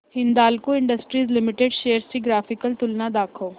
Hindalco Industries Limited shares ची graphical तुलना दाखव